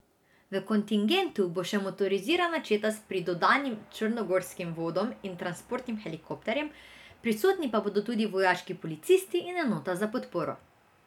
V kontingentu bo še motorizirana četa s pridodanim črnogorskim vodom in transportnim helikopterjem, prisotni pa bodo tudi vojaški policisti in enota za podporo.